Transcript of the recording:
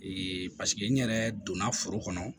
n yɛrɛ donna foro kɔnɔ